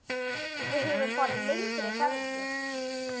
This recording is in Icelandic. Við höfum farið lengri ferðir.